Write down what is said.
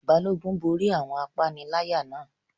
Balógun borí àwọn apaniláyà náà